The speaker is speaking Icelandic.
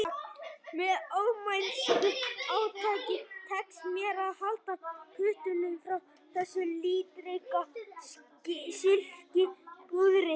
Með ómennsku átaki tekst mér að halda puttunum frá þessu litríka silkipúðri